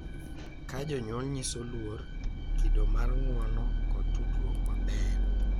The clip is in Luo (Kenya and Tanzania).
Ka jonyuol nyiso luor, kido mar ng’uono, kod tudruok maber,